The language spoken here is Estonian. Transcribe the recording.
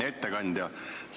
Hea ettekandja!